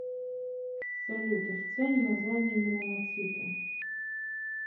салют официальное название меланоциты